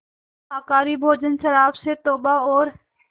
शाकाहारी भोजन शराब से तौबा और